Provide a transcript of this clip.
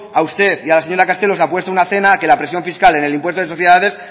a usted y a la señora castelo les apuesto una cena que la presión fiscal en el impuesto de sociedades